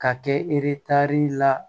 Ka kɛ eretari la